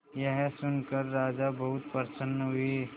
यह सुनकर राजा बहुत प्रसन्न हुए